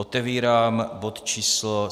Otevírám bod číslo